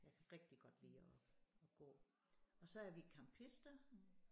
Jeg kan rigtig godt lide at at gå og så er vi campister